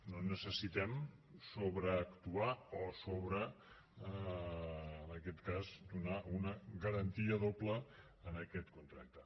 no necessitem sobreactuar o en aquest cas donar una garantia doble en aquest contracte